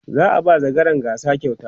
za'a ba zakaran gasa kyauta